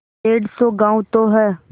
डेढ़ सौ गॉँव तो हैं